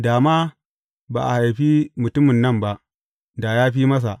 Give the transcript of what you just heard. Da ma ba a haifi mutumin nan ba, da ya fi masa.